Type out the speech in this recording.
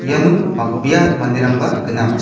iano bang·bea manderangba gnang.